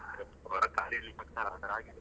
ಹ್ಮ್ ಹೊರಗೆ ಕಾಲಿಡಲಿಕ್ಕೆ ಆಗತ್ತಾ ಇಲ್ಲ ಆ ತರ ಆಗಿದೆ.